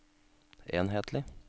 enhetlig